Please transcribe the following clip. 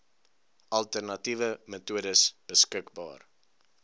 alternatiewe metodes beskik